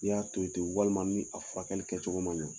I y'a to i ten walima ni a fura kɛli kɛ cogo ɲa